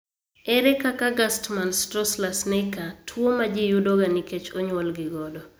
Ere kaka Gerstmann Straussler Scheinker tuo ma ji yudoga nikech onyuolgi godo?